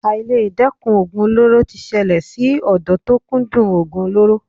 Àìledẹ́kun oògùn olóró ti ṣẹlẹ̀ sí ọ̀dọ́ tó kúndùn oògùn olóró.